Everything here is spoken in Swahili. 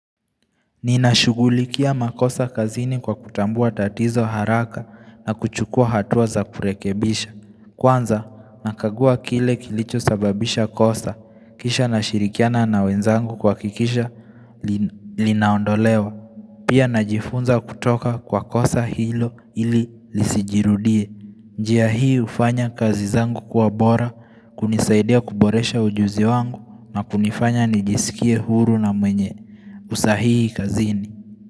Ninashugulikia makosa kazini kwa kutambua tatizo haraka na kuchukua hatua za kurekebisha Kwanza nakagua kile kilicho sababisha kosa kisha nashirikiana na wenzangu kuhakikisha linaondolewa Pia najifunza kutoka kwa kosa hilo ili lisijirudie njia hii ufanya kazi zangu kiwa bora kunisaidia kuboresha ujuzi wangu na kunifanya nijisikie huru na mwenye usahihi kazini.